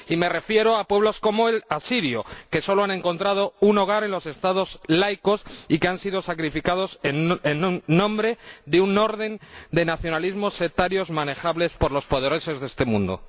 Y me refiero a pueblos como el asirio, que solo han encontrado un hogar en los Estados laicos y que han sido sacrificados en nombre de un orden de nacionalismos sectarios manejables por los poderosos de este mundo.